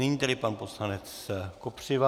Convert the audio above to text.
Nyní tedy pan poslanec Kopřiva.